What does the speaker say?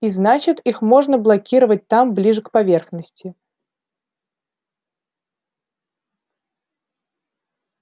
и значит их можно блокировать там ближе к поверхности